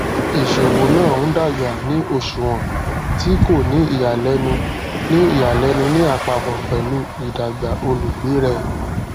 ìṣowó náà ń dàgbà ní òṣùwọn tí kò ní ìyàlénu ní ìyàlénu ní àpapọ pẹlú ìdàgbà olùgbé rẹ